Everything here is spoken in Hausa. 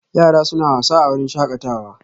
Yara suna wasa a wurin shakatawa